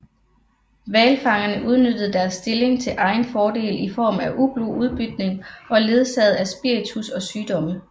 Hvalfangerne udnyttede deres stilling til egen fordel i form af ublu udbytning ledsaget af spiritus og sygdomme